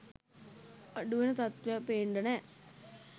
අඩුවෙන තත්ත්වයක් පේන්ඩ නෑ